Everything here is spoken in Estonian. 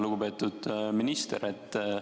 Lugupeetud minister!